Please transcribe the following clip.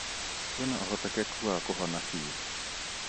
Kwĩna ũhotekeku wa kũhona bĩũ.